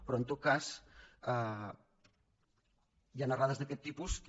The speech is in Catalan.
però en tot cas hi han errades d’aquest tipus que